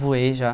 Voei já.